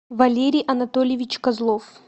валерий анатольевич козлов